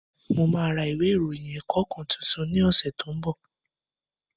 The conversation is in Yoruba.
Mo ma ra ìwé ìròyìn ẹ̀kọ́ kan tuntun ní ọ̀sẹ̀ tó ń bọ̀